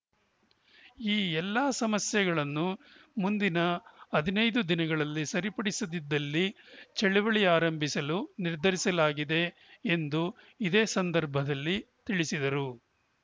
ಈ ಎಲ್ಲ ಸಮಸ್ಯೆಗಳನ್ನು ಮುಂದಿನ ಹದಿನೈದು ದಿನಗಳಲ್ಲಿ ಸರಿಪಡಿಸದಿದ್ದಲ್ಲಿ ಚಳುವಳಿ ಆರಂಭಿಸಲು ನಿರ್ಧರಿಸಲಾಗಿದೆ ಎಂದು ಇದೇ ಸಂದರ್ಭದಲ್ಲಿ ತಿಳಿಸಿದರು